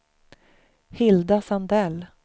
Hilda Sandell